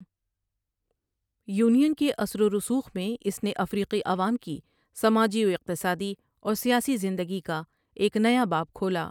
Union کے اثر و رسوخ میں اس نے افریقی عوام کی سماجی و اقتصادی اور سیاسی زندگی کا ایک نیا باب کھولا۔